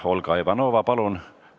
Olga Ivanova, palun!